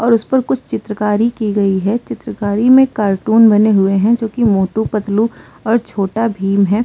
और उसपर कुछ चित्रकारी की गई है। चित्रकारी में कार्टून बने हुए है जोकि मोटू पतलू और छोटा भीम है।